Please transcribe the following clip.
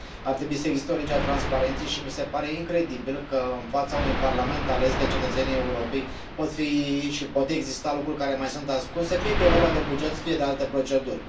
Ar trebui să existe o lege a transparenței și mi se pare incredibil că, în fața unui parlament ales de cetățenii Europei, pot fi și pot exista lucruri care mai sunt ascunse, fie că e vorba de buget, fie de alte proceduri.